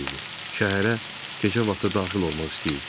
Şəhərə gecə vaxtı daxil olmaq istəyirdi.